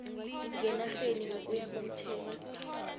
ngenarheni ngokuya komthetho